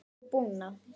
og búnað.